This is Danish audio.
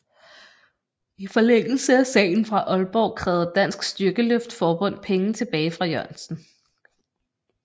I forlængelse af sagen fra Aalborg krævede Dansk Styrkeløft Forbund penge tilbage fra Jørgensen